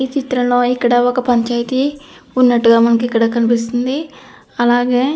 ఈ చిత్రంలో ఇక్కడ ఒక పంచాయతీ ఉన్నట్టుగా మనకు ఇక్కడ కనిపిస్తుఉంది అలాగే --